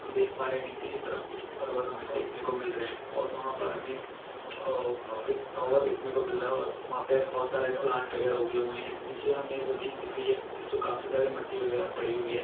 हम देख पा रहे है नीचे की तरफ कुछ पर्वत हमे देखने को मिल रहे है और वहां पर हमे एक टावर देखने को मिल रहा है और वहां पर बहुत सारे प्लांट वगैराह हो गए हुए है नीचे हमे जमीन दिख रही है जिसमे बहुत सारे मिट्टी वगैरा पड़ी हुई है।